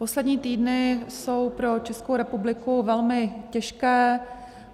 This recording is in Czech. Poslední týdny jsou pro Českou republiku velmi těžké.